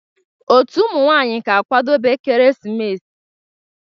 Otu ụmụ nwanyị ga-akwado ekeresimesi a.